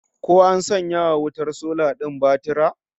Ko an sanya wa wutar sola din batura?